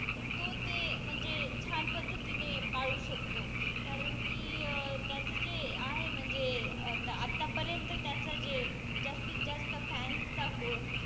तर तो ते म्हणजे छान पद्धतीने पाळू शकतो कारण कि त्याच जे आहे म्हणजे आत्ता पर्यंत त्याच जे जास्तीत जास्त फॅन्स चा,